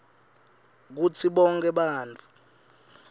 kutsi bonkhe bantfu